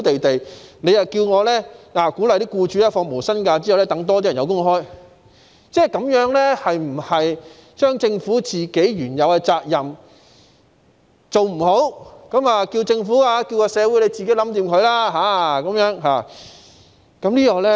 他們有工作，局長卻鼓勵僱主要求他們放無薪假，讓更多人有工作，這樣是否即政府未盡自己原有的責任，便叫社會自行解決？